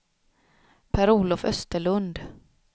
Per-Olof Österlund